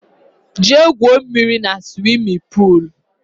Jee gwụo mmírí na swimin poolu!!!